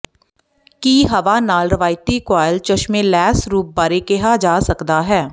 ਕੀ ਹਵਾ ਨਾਲ ਰਵਾਇਤੀ ਕੁਆਇਲ ਚਸ਼ਮੇ ਲੈਸ ਰੂਪ ਬਾਰੇ ਕਿਹਾ ਜਾ ਸਕਦਾ ਹੈ